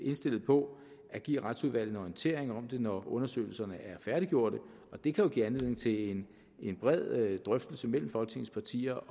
indstillet på at give retsudvalget en orientering om det når undersøgelserne er færdiggjorte og det kan jo give anledning til en bred drøftelse mellem folketingets partier